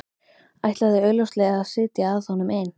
Ætlaði augljóslega að sitja að honum ein.